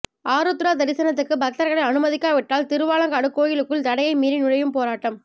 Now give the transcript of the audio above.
ஆருத்ரா தரிசனத்துக்கு பக்தர்களை அனுமதிக்காவிட்டால் திருவாலங்காடு கோயிலுக்குள் தடையை மீறி நுழையும் போராட்டம்